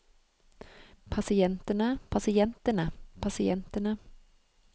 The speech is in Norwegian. pasientene pasientene pasientene